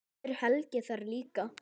Verður Helgi þar líka?